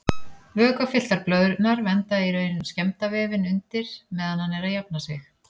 Vökvafylltar blöðrurnar vernda í raun skemmda vefinn undir meðan hann er að jafna sig.